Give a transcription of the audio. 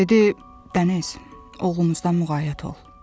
Dedi: Dəniz, oğlumuzdan müğayət ol.